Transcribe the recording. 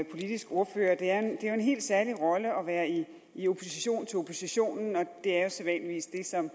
politisk ordfører det er jo en helt særlig rolle at være i opposition til oppositionen og det er sædvanligvis det som